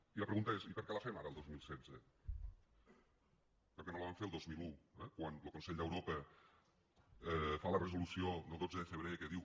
i la pregunta és i per què la fem ara al dos mil setze per què no la vam fer el dos mil un eh quan lo consell d’europa fa la resolució del dotze de febrer que diu